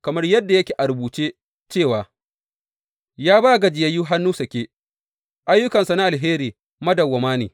Kamar yadda yake a rubuce cewa, Ya ba gajiyayyu hannu sake, ayyukansa na alheri madawwama ne.